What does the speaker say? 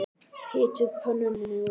Hitið pönnu með olíu.